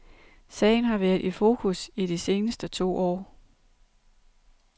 Sagen har været i fokus i de seneste to år.